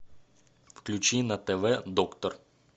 включи на тв доктор